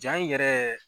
Ja in yɛrɛ